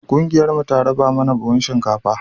ƙungiyar mu ta raba mana buhun shinkafa